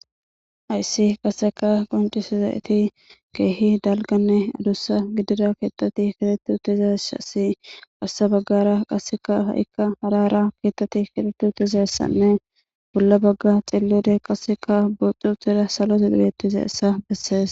Hassi qasseka qoncisizayeti keehi dalganne adussa gidira keettati kiretu tizessasi warsa baggara qasseka ha7ikka harara keettati kiretu tizaessanne bolla bagga xillude qasseka buxu tira salo sidubetizeissa bessees